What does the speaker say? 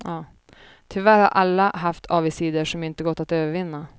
Tyvärr har alla haft avigsidor som inte gått att övervinna.